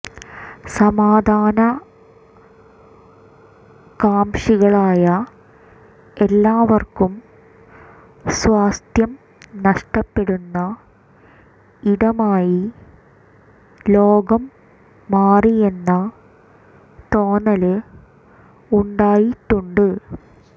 സാമാധാന കാംക്ഷികളായ എല്ലാവര്ക്കും സ്വാസ്ഥ്യം നഷ്ടപ്പെടുന്ന ഇടമായി ലോകം മാറിയെന്ന തോന്നല് ഉണ്ടായിട്ടുണ്ട്